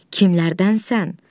Kimlərdənsən?